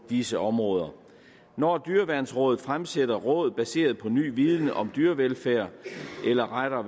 disse områder når dyreværnsrådet fremsætter råd baseret på ny viden om dyrevelfærd eller rettere